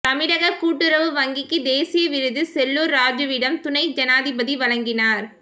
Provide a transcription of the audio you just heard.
தமிழக கூட்டுறவு வங்கிக்கு தேசிய விருது செல்லூர் ராஜுவிடம் துணை ஜனாதிபதி வழங்கினார்